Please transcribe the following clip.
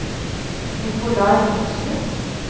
Nicolai Johnsrud